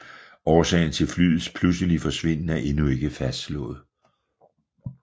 Årsagen til flyets pludselige forsvinden er endnu ikke fastslået